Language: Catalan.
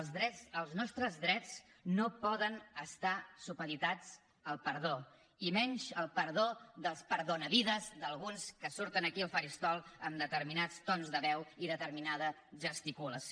els nostres drets no poden estar supeditats al perdó i menys al perdó dels perdonavides d’alguns que surten aquí al faristol amb determinats tons de veu i determinada gesticulació